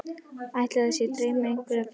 Ætli þetta sé draumur einhverra fleiri?